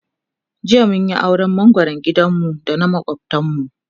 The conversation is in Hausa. jiya mun Yi auran mangoran gidan mu da na makwaftan mu